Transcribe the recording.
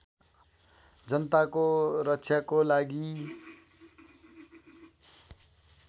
जनताको रक्षाको लागि